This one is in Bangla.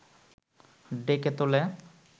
ডেকে তোলে